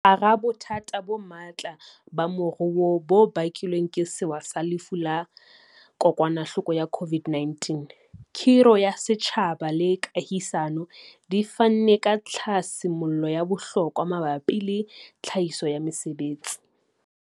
Hara bothata bo matla ba moruo bo bakilweng ke sewa sa Lefu la Kokwanahloko ya Corona, khiro ya setjhaba le kahisano di fanne ka tlhasi mollo ya bohlokwa mabapi le tlhahiso ya mesebetsi.